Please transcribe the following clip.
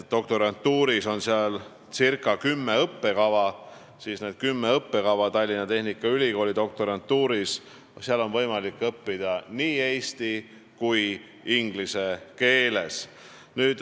Doktorantuuris on seal ca kümme õppekava ja õppida on võimalik nii eesti kui ka inglise keeles.